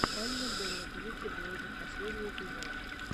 анна белл бьюти блоггер последний эпизод